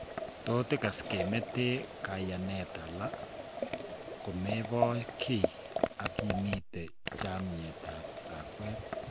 Tot ikas kemeete kaiyaneet ala komeboo kii akimete chameet ab lakweet